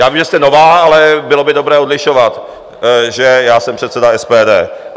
Já vím, že jste nová, ale bylo by dobré odlišovat, že já jsem předseda SPD.